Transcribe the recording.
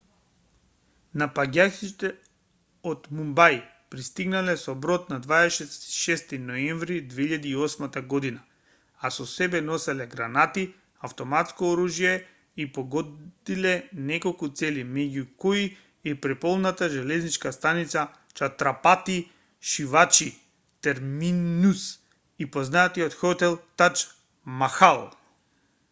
напаѓачите од мумбај пристигнале со брод на 26 ноември 2008 г а со себе носеле гранати автоматско оружје и погодиле неколку цели меѓу кои и преполната железничка станица чатрапати шиваџи терминус и познатиот хотел таџ махал